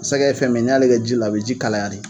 Sɛgɛ fɛn min, n'i y'ale kɛ ji la a bɛ ji kalaya de.